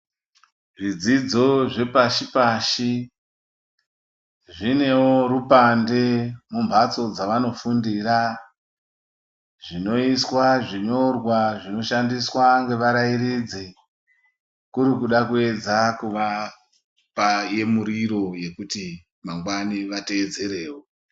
Zvidzidzo zvepashi-pashi, zvinewo rupande mumbatso dzavanofundira zvinoiswa zvinyorwa zvinoshandiswa ngevarairidzi kuri kuda kupedza kuvapa yemuriro yekuti mangwani vateedzerewo.